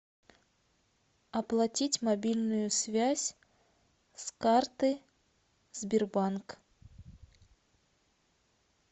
оплатить мобильную связь с карты сбербанк